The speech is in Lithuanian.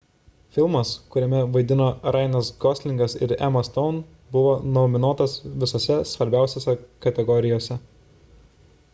filmas kuriame vaidino ryanas goslingas ir emma stone buvo nominuotas visose svarbiausiose kategorijose